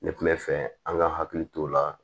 Ne kun bɛ fɛ an ka hakili t'o la